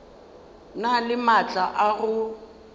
na le maatla a go